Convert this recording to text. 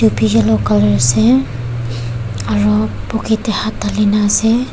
Tobi yellow colour ase aro pocket tae hat dhalina ase.